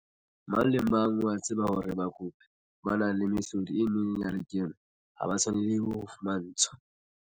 Mang le mang o a tseba hore bakopi ba nang le mehlodi e meng ya lekeno ha ba tshwanelehe ho fumantshwa.